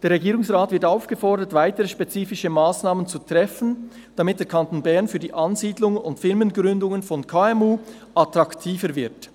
Der Regierungsrat wird aufgefordert, weitere spezifische Massnahmen zu treffen, damit der Kanton Bern für die Ansiedlung und Firmengründungen von KMU attraktiver wird.